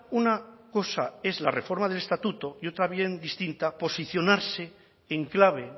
una cosa es la reforma del estatuto y otra bien distinta posicionarse en clave